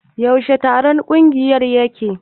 Yaushe taron kungiyar yake?